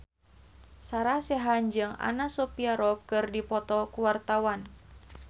Sarah Sechan jeung Anna Sophia Robb keur dipoto ku wartawan